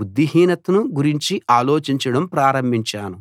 బుద్ధిహీనతను గురించి ఆలోచించడం ప్రారంభించాను